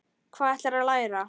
Hvað ætlarðu að læra?